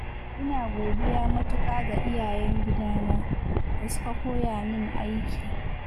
ina godiya matuƙa ga iyayen gidana, da suka koya min aiki.